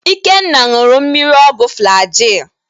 Ikenna ṅụụrụ mkpụrụ ọgwụ Flaji.